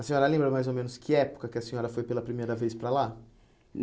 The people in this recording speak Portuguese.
A senhora lembra mais ou menos que época que a senhora foi pela primeira vez para lá?